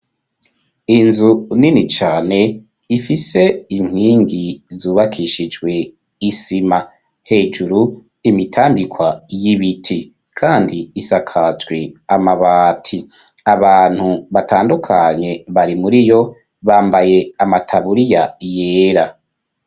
Inzu nini cane, ifise inkingi, zubakishijwe isima; hejuru, imitambikwa y'ibiti, kandi isakajwe, amabati; abantu batandukanye, bari muri yo; bambaye, amataburiya yera.